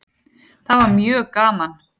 Það var mjög gaman.